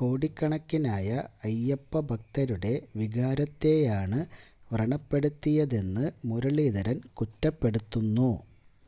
കോടിക്കണക്കിനായ അയ്യപ്പ ഭക്തരുടെ വികാരത്തെയാണ് വ്രണപ്പെടുത്തിയതെന്ന് മുരളീധരന് കുറ്റപ്പെടുത്തുന്നു